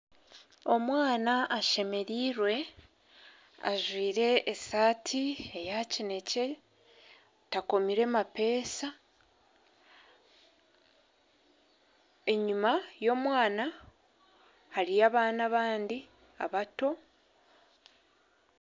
Omwana ashemereirwe ajwire esati eya kinekye takomire mapesa enyuma y'omwana hariyo abaana abandi abato.